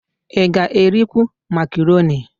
Ị ga-erikwu makaroni?